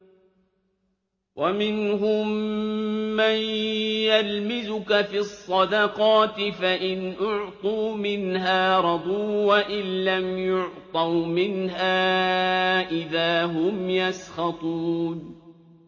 وَمِنْهُم مَّن يَلْمِزُكَ فِي الصَّدَقَاتِ فَإِنْ أُعْطُوا مِنْهَا رَضُوا وَإِن لَّمْ يُعْطَوْا مِنْهَا إِذَا هُمْ يَسْخَطُونَ